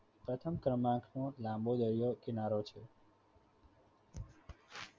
પ્રથમ ક્રમાંક નો લાંબો દરિયા કિનારો છે.